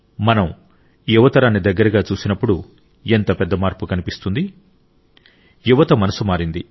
మనం యువ తరాన్ని దగ్గరగా చూసినప్పుడు ఎంత పెద్ద మార్పు కనిపిస్తుంది యువత మనసు మారింది